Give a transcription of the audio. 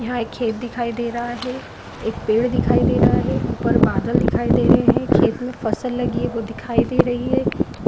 यहाँ एक खेत दिखाई दे रहा है एक पेड़ दिखाई दे रहा है ऊपर बादल दिखाई दे रहे हैं खेत में फसल लगी है वो दिखाई दे रही है।